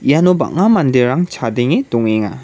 iano bang·a manderang chadenge dongenga.